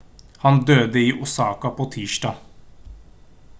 han døde i osaka på tirsdag